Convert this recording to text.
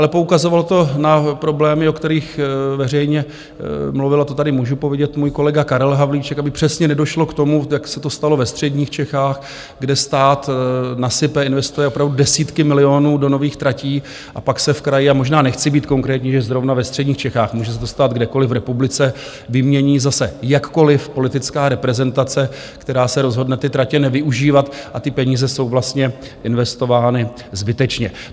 Ale poukazovalo to na problémy, o kterých veřejně mluvil, to tady můžu povědět, můj kolega Karel Havlíček, aby přesně nedošlo k tomu, jak se to stalo ve středních Čechách, kde stát nasype, investuje opravdu desítky milionů do nových tratí, a pak se v kraji, a možná nechci být konkrétní, že zrovna ve středních Čechách, může se to stát kdekoliv v republice, vymění zase jakkoliv politická reprezentace, která se rozhodne ty tratě nevyužívat, a ty peníze jsou vlastně investovány zbytečně.